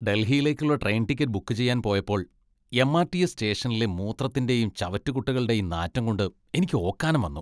ഡൽഹിയിലേക്കുള്ള train ticket book ചെയ്യാൻ പോയപ്പോൾ M. R. T. S. സ്റ്റേഷനിലെ മൂത്രത്തിന്റെയും ചവറ്റുകുട്ടകളുടെയും നാറ്റം കൊണ്ട് എനിക്ക് ഓക്കാനം വന്നു.